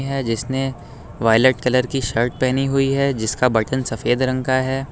यह जिसने violet colour की शर्ट पहनी हुई है जिसका बटन सफेद रंग का है।